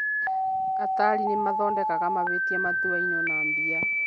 Atari nĩ mathondekaga mahĩtia matuainwo na mbia